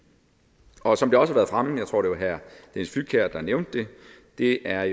og som det også har været fremme jeg tror det var herre dennis flydtkjær der nævnte det er